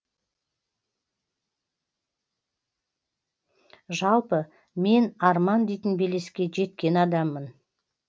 жалпы мен арман дейтін белеске жеткен адаммын